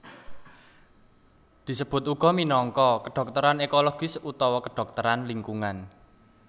Disebut uga minangka kedhokteran ekologis utawa kedhokteran lingkungan